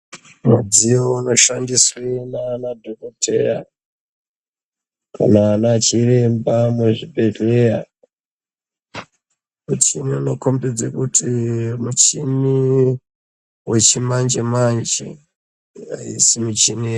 Midziyo inoshandiswe nana dzokoteya kana ana chiremba muzvibhedhlera. Michini inokondidze kuti muchini yechimanje-manje haisi michini yekudhaya..